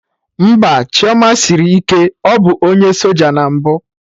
Mpa Chioma sịrị ike, ọ bụ onye soja na mbụ